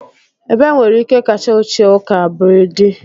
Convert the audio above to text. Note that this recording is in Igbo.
ebe nwere ike kacha ochie ụka br dị